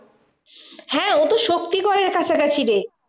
হ্যাঁ ও তো শক্তিগড়ের কাছাকাছি রে।